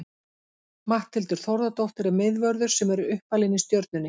Matthildur Þórðardóttir er miðvörður sem er uppalin í Stjörnunni.